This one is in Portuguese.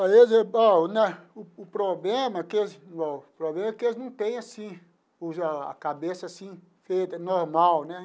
Para eles o problema é que eles bom o problema é que eles não têm assim o a cabeça assim feita, normal né.